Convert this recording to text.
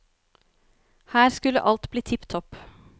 Her skulle alt bli tipp topp.